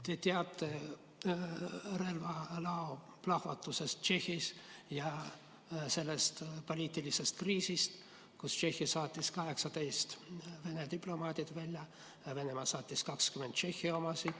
Te teate relvalao plahvatusest Tšehhis ja sellest poliitilisest kriisist, mille tõttu Tšehhi saatis 18 Vene diplomaati välja ning Venemaa saatis välja 20 Tšehhi oma.